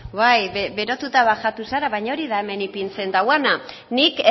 bai berotuta bajatu zara baina hori da hemen ipintzen duena nik